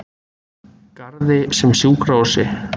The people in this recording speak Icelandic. Garði sem sjúkrahúsi.